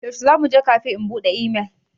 Yaushe za mu je kafe in buɗe imel?